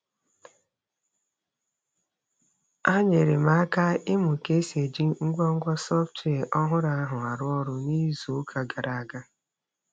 Ha nyeere m aka ịmụ ka e si eji ngwa ngwa sọftwịa ọhụrụ ahụ arụ ọrụ n'izuụka gara aga.